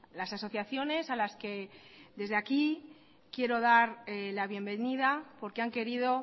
las asociaciones a las que desde aquí quiero dar la bienvenida porque han querido